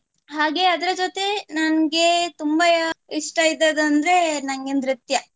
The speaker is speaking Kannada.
ಹಾಗೆ ಅದರ ಜೊತೆ ನಂಗೆ ತುಂಬಾ ಇಷ್ಟ ಇದ್ದದಂದ್ರೆ ನಂಗೆ